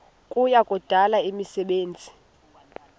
kuya kudala imisebenzi